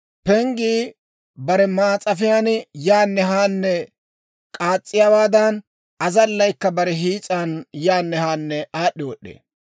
Penggii bare maas'afiyaan yaanne haanne k'aas's'iyaawaadan, azallaykka bare hiis'an yaanne haanne aad'd'i wod'd'ee.